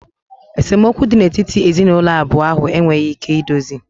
Esemokwu dị n'etiti ezinụlọ abụọ ahụ enweghị ike idozi